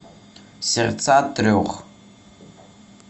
сердца трех